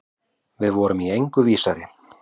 Við vorum í engu vísari.